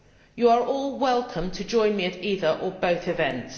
You are all welcome to join me at either or both events.